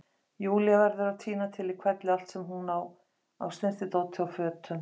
Júlía verður að tína til í hvelli allt sem hún á af snyrtidóti og fötum.